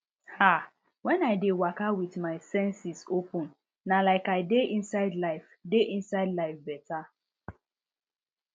ah when i dey waka with my senses open na like i dey inside life dey inside life beta